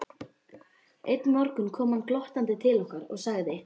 Einn morgun kom hann glottandi til okkar og sagði